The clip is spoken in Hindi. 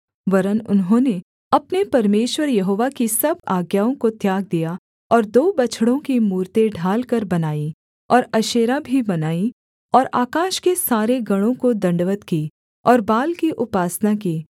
वरन् उन्होंने अपने परमेश्वर यहोवा की सब आज्ञाओं को त्याग दिया और दो बछड़ों की मूरतें ढालकर बनाईं और अशेरा भी बनाई और आकाश के सारे गणों को दण्डवत् की और बाल की उपासना की